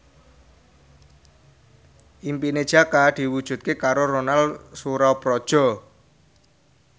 impine Jaka diwujudke karo Ronal Surapradja